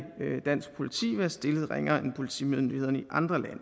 dansk politi være stillet ringere end politimyndighederne i andre lande